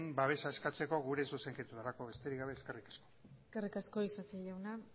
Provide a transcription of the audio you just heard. babesa eskatzeko gure zuzenketarako besterik gabe eskerrik asko eskerrik asko isasi jauna